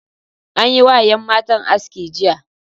An yi wa yan matan aski jiya.